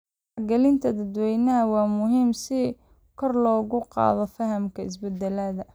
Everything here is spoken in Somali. Wacyigelinta dadweynaha waa muhiim si kor loogu qaado fahamka isbedelada.